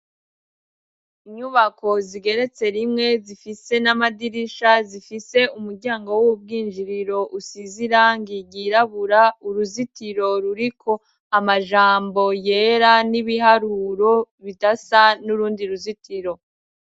Inyubako zigeretse rimwe zifise n'amadirisha zifise umuryango w'ubwinjiriro usize irangi ryirabura uruzitiro ruriko amajambo yera n'ibiharuro bidasa n'urundi ruzitiro.